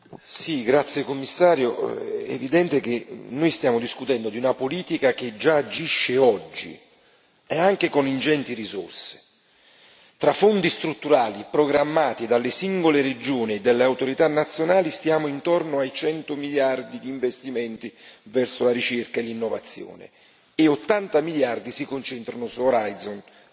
Signora Presidente, onorevoli colleghi, signor Commissario, è evidente che noi stiamo discutendo di una politica che già agisce oggi e anche con ingenti risorse. Tra Fondi strutturali programmati dalle singole regioni e dalle autorità nazionali stiamo intorno ai 100 miliardi di investimenti nella ricerca e nell'innovazione e 80 miliardi si concentrano su Orizzonte